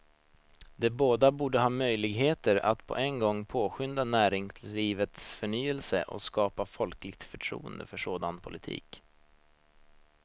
De båda borde ha möjligheter att på en gång påskynda näringslivets förnyelse och skapa folkligt förtroende för en sådan politik.